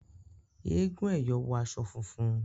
Èègún " ẹyọ ", wọ aṣọ funfun